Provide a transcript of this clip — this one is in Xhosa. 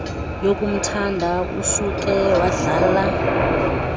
yokumthanda usuke wadlala